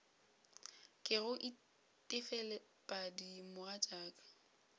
ke go itefelet padi mogatšaka